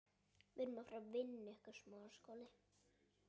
Þetta gerði enginn nema Sveinn.